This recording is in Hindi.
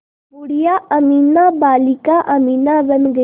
बूढ़िया अमीना बालिका अमीना बन गईं